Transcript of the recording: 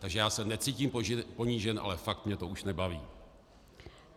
Takže já se necítím ponížen, ale fakt mě to už nebaví.